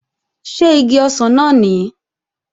Ṣé igi ọsàn náà nìí?